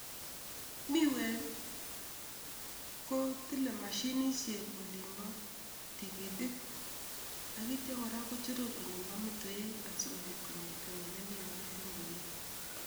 Miwek kotile mashinisiek olimbo tigitik akityo kochoror olimpo meteiwek asikopit konget ne miwat eng kwenet.